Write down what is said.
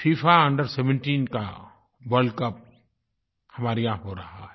FIFA under17 का world cup हमारे यहाँ हो रहा है